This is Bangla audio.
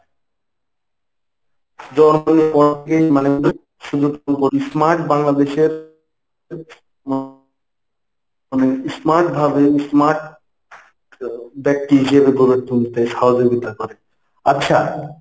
smart বাংলাদেশের মানে smart ভাবে smart আহ ব্যাক্তি হিসেবে গড়ে তুলতে সহযোগিতা করে। আচ্ছা